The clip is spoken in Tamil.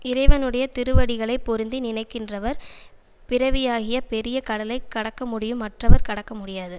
இறைவனுடைய திருவடிகளை பொருந்தி நினைக்கின்றவர் பிறவியாகிய பெரிய கடலைக் கடக்க முடியும் மற்றவர் கடக்க முடியாது